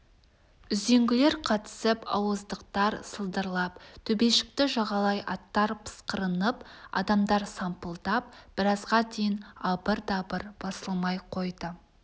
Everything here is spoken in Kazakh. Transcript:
үзеңгілер қатысып ауыздықтар сылдырлап төбешікті жағалай аттар пысқырынып адамдар сампылдап біразға дейін абыр-дабыр басылмай қойды